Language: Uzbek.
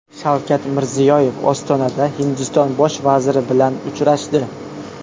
Shavkat Mirziyoyev Ostonada Hindiston bosh vaziri bilan uchrashdi.